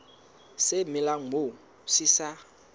se melang moo se sa